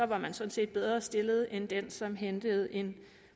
var man sådan set bedre stillet end den som hentede en